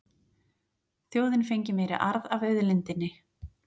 Þjóðin fengi meiri arð af auðlindinni